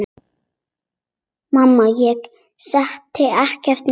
Mamma: Ég setti ekkert niður!